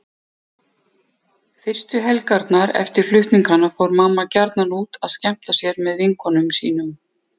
Fyrstu helgarnar eftir flutningana fór mamma gjarnan út að skemmta sér með vinkonum sínum.